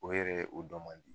O yɛrɛ o dɔ man di.